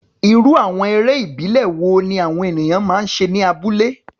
Irú àwọn eré ìbílẹ̀ wo ni àwọn ènìyàn máa ń ṣe ní abúlé?